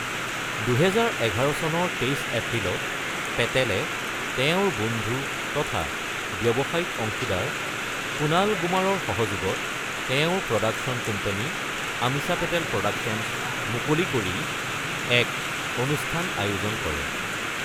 ২০১১ চনৰ ২৩ এপ্ৰিলত পেটেলে তেওঁৰ বন্ধু তথা ব্যৱসায়িক অংশীদাৰ কুনাল গুমাৰৰ সহযোগত তেওঁৰ production company Ameesha Patel productions মুকলি কৰি এক অনুষ্ঠান আয়োজন কৰে।